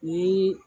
Ni